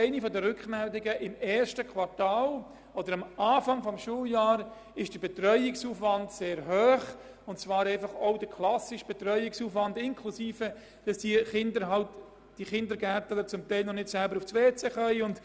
Eine der ersten Rückmeldungen lautete, dass der Aufwand am Anfang des ersten Schuljahres sehr gross sei, auch der klassische Betreuungsaufwand, inklusive Dinge wie dass viele der neuen Kindergartenkinder noch nicht selber das WC aufsuchen können.